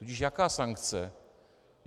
Tudíž jaká sankce?